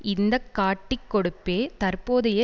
இந்த காட்டிக் கொடுப்பே தற்போதைய